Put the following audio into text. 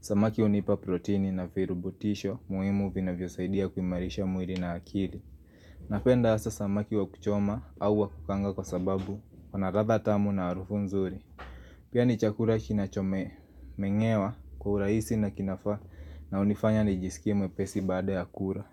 Samaki hunipa protini na virubutisho muimu vinavyosaidia kuimarisha mwiri na akiri Napenda asa samaki wa kuchoma au wa kukaanga kwa sababu iko na ratha tamu na arufu nzuri Pia ni chakura kinachome, meng'ewa kwa uraisi na kinafaa na unifanya nijisikie mwepesi baada ya kura.